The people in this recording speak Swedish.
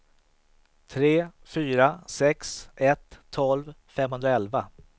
tre fyra sex ett tolv femhundraelva